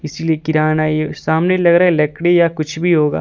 किरान आई है सामने लग रहा है लकड़ी या कुछ भी होगा।